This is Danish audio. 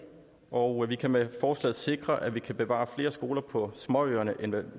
og vi kan med forslaget sikre at vi kan bevare flere skoler på småøerne end vi